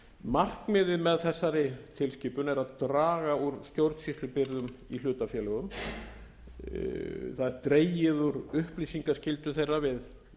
markmiðið með þessari tilskipun er að draga úr stjórnsýslubyrðum í hlutafélögum það er dregið úr upplýsingaskyldu þeirra við